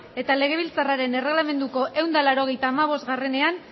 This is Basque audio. eta legebiltzarraren erregelamenduko ehun eta laurogeita hamabostean